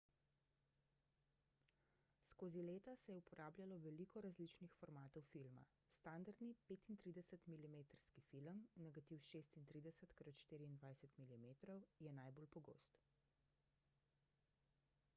skozi leta se je uporabljalo veliko različnih formatov filma. standardni 35-milimetrski film negativ 36 x 24 mm je najbolj pogost